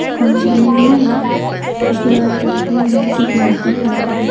सामने दिख रहा तस्वीर में एक लड़का खड़ा है।